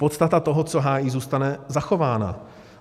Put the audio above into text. Podstata toho, co hájí, zůstane zachována.